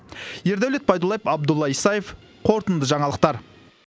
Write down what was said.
ердәулет байдуллаев абдулла исаев қорытынды жаңалықтар